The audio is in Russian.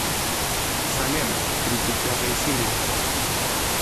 салем тридцать пятая серия